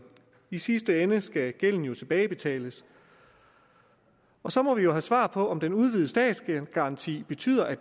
i sidste ende skal gælden jo tilbagebetales så må vi jo have svar på om den udvidede statsgaranti betyder at